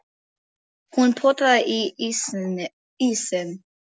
Hún potaði í ísinn.